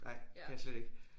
Ej kan jeg slet ikke